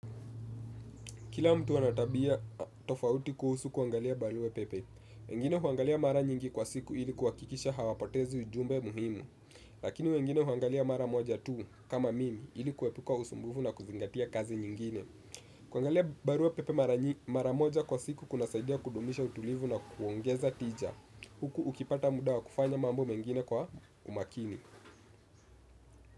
Kila mtu ana tabia tofauti kuhusu kuangalia barua pepe. Wengine huangalia mara nyingi kwa siku ili kuhakikisha hawapotezi ujumbe muhimu. Lakini wengine huangalia mara moja tu kama mimi ili kuwepika usumbuvu na kuzingatia kazi nyingine. Kuangalia barua pepe mara moja kwa siku kunasaidia kudumisha utulivu na kuongeza tija. Huku ukipata muda wa kufanya mambo mengine kwa umakini.